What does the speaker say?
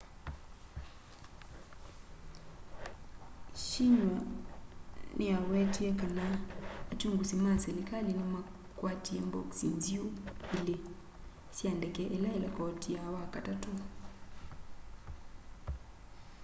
xinhua niyawetie kana akyungusi ma silikali nimakwatie mbokisi nziu” ilî sya ndeke ila ilekotia wakatatu